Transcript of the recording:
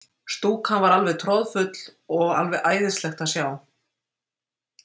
Stúkan er alveg troðfull og alveg æðislegt að sjá.